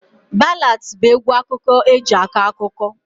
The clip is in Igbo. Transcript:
Ballads bụ egwu akụkọ eji akọ akụkọ